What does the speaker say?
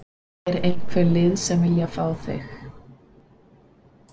Er einhver lið sem að vilja fá þig?